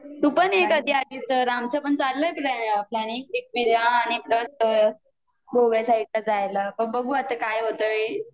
तु पण ये कधी आली तर आमचं पण चाललंय प्लानिंग आणि प्लस गोव्या साइडला जायला बघु आता काय होतंय ते